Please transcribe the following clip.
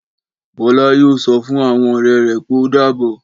Bọ́lá yóò sọ fún àwọn ọ̀rẹ́ rẹ̀ pé ó dáàbọ̀.